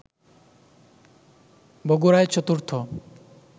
বগুড়ায় চতুর্থ